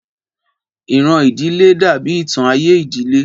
Ìran ìdílé dàbí ìtàn ayé ìdílé